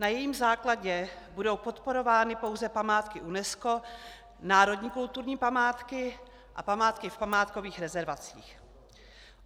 Na jejím základě budou podporovány pouze památky UNESCO, národní kulturní památky a památky v památkových rezervacích.